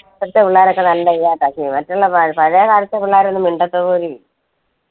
ഇപ്പോഴത്തെ പിള്ളേരൊക്കെ നല്ല ഇതായിട്ട്മറ്റുള്ള പഴേകാലത്തെ പിള്ളേരൊന്നും മിണ്ടത്തുപോലും ഇല്ല